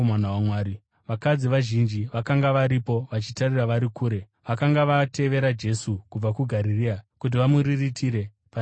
Vakadzi vazhinji vakanga varipo, vachitarira vari kure. Vakanga vatevera Jesu kubva kuGarirea kuti vamuriritire pane zvaaida.